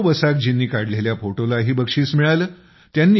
प्रणव बसाकजींनी काढलेल्या फोटोलाही बक्षीस मिळाले